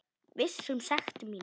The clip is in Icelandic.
Viss um sekt mína.